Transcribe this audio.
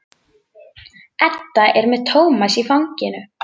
Edda er með Tómas í fanginu.